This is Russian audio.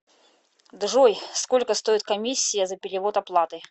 джой сколько стоит комиссия за перевод оплаты